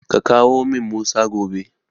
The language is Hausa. Ka kawo min Musa gobe.